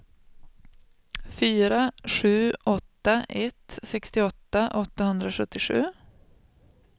fyra sju åtta ett sextioåtta åttahundrasjuttiosju